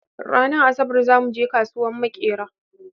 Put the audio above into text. Ranan asabar zamu je kasuwan makera.